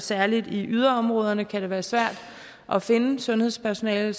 særlig i yderområderne kan det være svært at finde sundhedspersonale